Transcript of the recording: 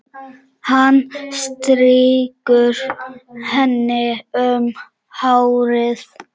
Hann strýkur henni um hárið.